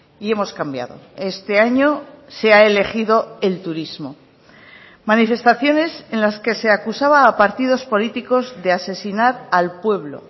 y hemos cambiado este año se ha elegido el turismo manifestaciones en las que se acusaba a partidos políticos de asesinar al pueblo